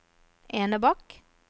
Enebakk